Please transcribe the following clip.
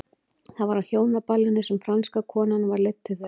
Það var á hjónaballinu sem franska konan var leidd til þeirra.